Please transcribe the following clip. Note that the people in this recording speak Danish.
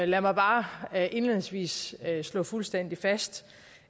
lad mig bare indledningsvis slå fuldstændig fast